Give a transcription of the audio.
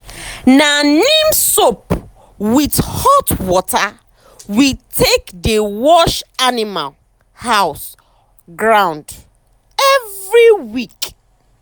na neem soap with hot water we take dey wash animal um house ground every week.